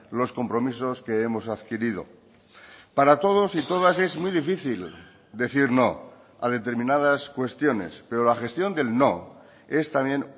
los compromisos que hemos adquirido para todos y todas es muy difícil decir no a determinadas cuestiones pero la gestión del no es también